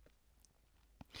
DR K